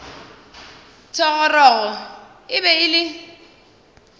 thogorogo e be e le